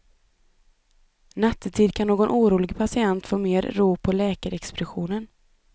Nattetid kan någon orolig patient få mer ro på läkarexpeditionen.